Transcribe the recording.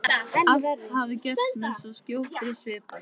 Allt hafi gerst með svo skjótri svipan.